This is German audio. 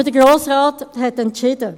Aber der Grosse Rat hat entscheiden.